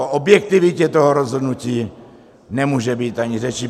O objektivitě toho rozhodnutí nemůže být ani řeči.